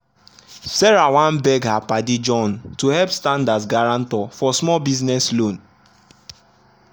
sarah wan beg her padi john to help stand as guarantor for small business loan.